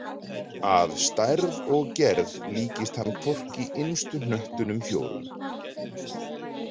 Að stærð og gerð líkist hann hvorki innstu hnöttunum fjórum.